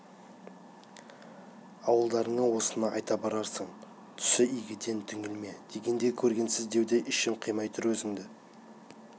ауылдарыңа осыны айта барарсың түсі игіден түңілме дегендей көргенсіз деуге ішім қимай тұр өзіңді